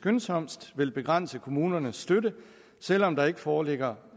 skyndsomst vil begrænse kommunernes støtte selv om der endnu ikke foreligger